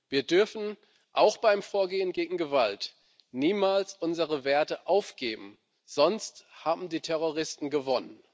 Wir dürfen auch beim Vorgehen gegen Gewalt niemals unsere Werte aufgeben, sonst haben die Terroristen gewonnen.